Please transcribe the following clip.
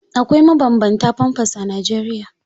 Akwai mabanbanta famfas a Najeriya.